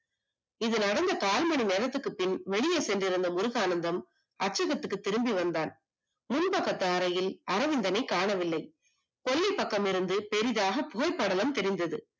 இது நடந்து கால் மணி நேரத்திற்கு பின் வெளியே சென்று இருந்த முருகானந்தம் அச்சகத்திற்கு திரும்பி வந்தான் முன் பக்க தரையில் அரவிந்தனை காணவில்லை கொள்ளை பக்கம் இருந்து பெரிதாக புகை படலம் திரிந்தது